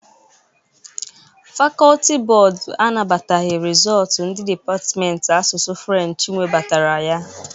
Fakọlti bọd anabataghị rizọtụ ndị depatmenti asụsụ Frenchi nwebatara ya.